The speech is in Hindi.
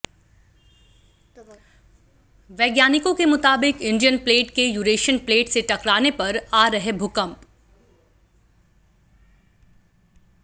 वैज्ञानिकों के मुताबिक इंडियन प्लेट के यूरेशियन प्लेट से टकराने पर आ रहे भूकंप